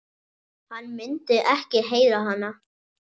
Hann myndi ekki heyra hana.